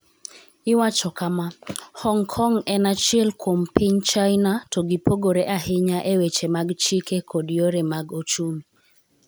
Iwacho kama: ''Hong Kong en achiel kuom piny China to gipogore ahinya e weche mag chike kod yore mag ochumi.